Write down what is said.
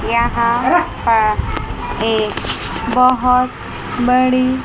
यहां पर एक बहोत बड़ी--